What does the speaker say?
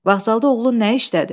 Vağzalda oğlun nə işdədi?